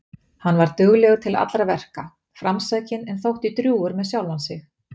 Hann var duglegur til allra verka, framsækinn en þótti drjúgur með sjálfan sig.